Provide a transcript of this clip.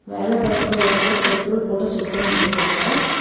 வேலை பாக்குற ஒருத்தர் பெட்ரோல் போட செட் பண்ணிட்டு இருக்காங்க.